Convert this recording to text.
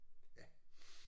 Ja